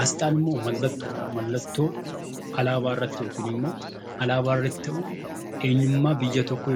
Asxaan mallattoodha. Alaabaa irratti yookaan immoo alaabaa irratti kan hojjetaman eenyummaa biyya tokko